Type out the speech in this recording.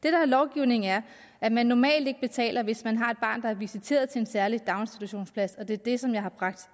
er i lovgivningen er at man normalt ikke betaler hvis man har et barn der er visiteret til en særlig daginstitutionsplads og det er det som jeg har bragt